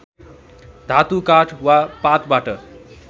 धातु काठ वा पातबाट